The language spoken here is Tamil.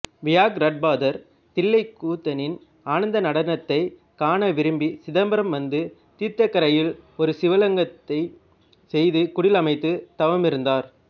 வியாக்ரட்பாதர் தில்லைக்கூத்தனின் ஆனந்த நடனத்தைக் காண விரும்பி சிதம்பரம் வந்து தீர்த்தக்கரையில் ஒரு சிவலிங்கத்தைச் செய்து குடில் அமைத்து தவமிருந்தார்